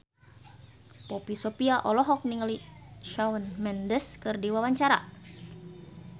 Poppy Sovia olohok ningali Shawn Mendes keur diwawancara